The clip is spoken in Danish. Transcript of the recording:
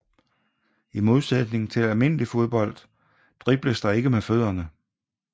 I modsætning til almindelig fodbold dribles der ikke med fødderne